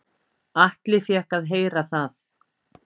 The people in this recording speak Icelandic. Atli fékk að heyra það.